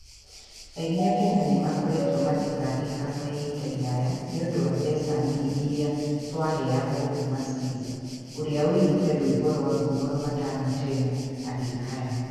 (Aini a Kenya nĩ makoretwo magĩtangĩka kwa ihinda iraya nĩ ũndũ wa mbeca nini iria twaheagwo kuma skiza),ũria wũiniite rwimbo rwĩ ngumo rwa tano tena agĩkaya